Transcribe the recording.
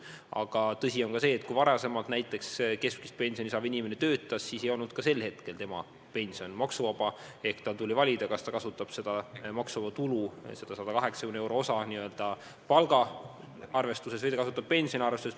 Aga tõsi on ka see, et kui varem keskmist pensioni saav inimene töötas, siis ei olnud tema pension maksuvaba, tal tuli valida, kas ta kasutab maksuvaba tulu, seda 180 euro suurust osa palgaarvestuses või ta kasutab seda pensioni arvestuses.